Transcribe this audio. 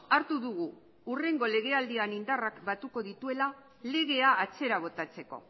hartu dugu hurrengo legealdian indarrak batuko dituela legea atzera botatzeko